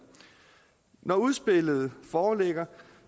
når udspillet foreligger